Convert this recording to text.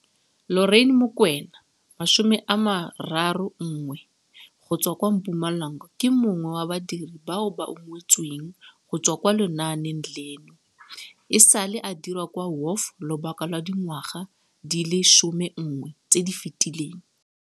Lorraine Mokoena 31 go tswa kwa Mpumalanga ke mongwe wa badiri bao ba ungwetsweng go tswa mo lenaaneng leno. E sale a dira kwa WOF lobaka lwa dingwaga di le 11 tse di fetileng.